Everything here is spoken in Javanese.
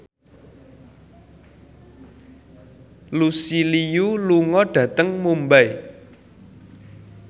Lucy Liu lunga dhateng Mumbai